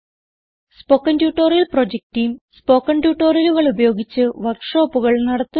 spoken tutorial project team spoken ട്യൂട്ടോറിയലുകൾ ഉപയോഗിച്ച് വർക്ക് ഷോപ്പുകൾ നടത്തുന്നു